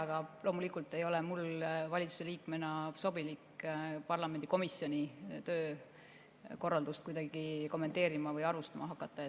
Aga loomulikult ei ole mul valitsuse liikmena sobilik parlamendi komisjoni töökorraldust kuidagi kommenteerima või arvustama hakata.